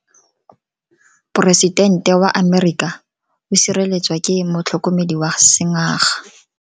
Poresitente wa Amerika o sireletswa ke motlhokomedi wa sengaga.